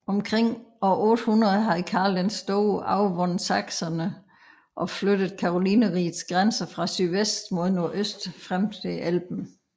Omkring år 800 havde Karl den Store overvundet sachserne og flyttet Karolinerrigets grænser fra sydvest mod nordøst frem til Elben